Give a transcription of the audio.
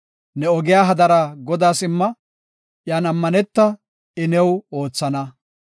Ne ogiya hadara Godaas imma; iyan ammaneta; I new oothana.